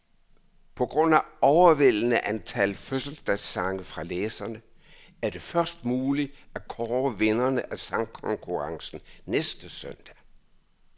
På grund af overvældende antal fødselsdagssange fra læserne, er det først muligt at kåre vinderne af sangkonkurrencen næste søndag.